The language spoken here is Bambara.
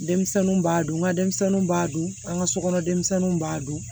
Denmisɛnninw b'a dun nga denmisɛnninw b'a dun an ka sokɔnɔ denmisɛnninw b'a dun